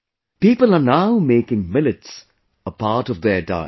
People are now making millets a part of their diet